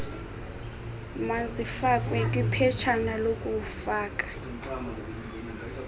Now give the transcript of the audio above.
mazifakwe kwiphetshana lokufaka